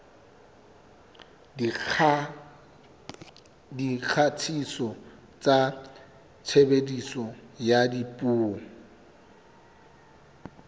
dikgatiso tsa tshebediso ya dipuo